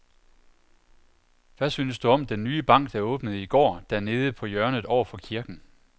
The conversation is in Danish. Hvad synes du om den nye bank, der åbnede i går dernede på hjørnet over for kirken?